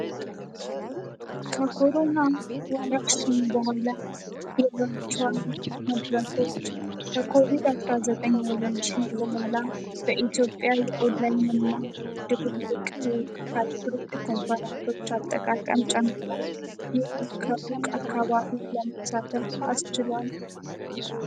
ከኮሮና ወረሺን በኋላ የቨርቺዋል መድረኮች በኮቪድ-19ወረርሽን በኋላ በኢትዮጵያ የኦድላይን እና ድቡቅ ሀልክሩክድ ኮንፈራንሶች አጠቃቀም ጨምራኡል። ይህ ከሩቅ አካባቢ ለመጠቀም አስችሏል።